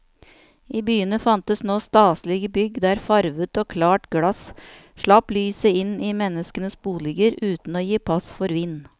I byene fantes nå staselige bygg der farvet og klart glass slapp lyset inn i menneskenes boliger uten å gi pass for vind.